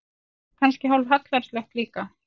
Og kannski hálf hallærislegt líka.